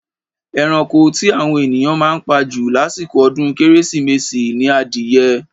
Eranko tí àwọn ènìyàn máa ń pa jù lásìkò ọdún kérésìmesì ni adìyẹ.